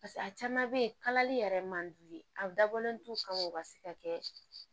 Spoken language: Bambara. paseke a caman be ye kalali yɛrɛ man d'u ye a dabɔlen t'u kan o ka se ka kɛ